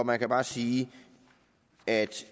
man kan bare sige at